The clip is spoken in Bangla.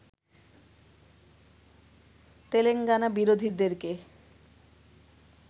তেলেঙ্গানা বিরোধীদেরকে